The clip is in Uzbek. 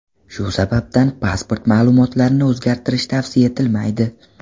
Shu sababdan pasport ma’lumotlarni o‘zgartirish tavsiya etilmaydi.